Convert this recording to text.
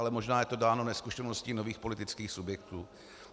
Ale možná je to dáno nezkušeností nových politických subjektů.